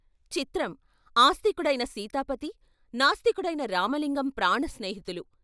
చిత్రం! ఆస్తికుడైన సీతాపతి, నాస్తికుడైన రామలింగం ప్రాణ స్నేహితులు.